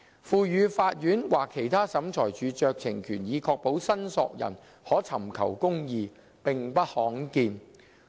賦予法院或其他審裁處酌情權以確保申索人可尋求公義，並不罕見。